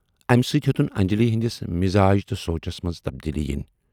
اَمہِ سۭتۍ ہیوتُن انجلی ہٕندِس مِزاج تہٕ سونچس منز تبدیلی یِنۍ۔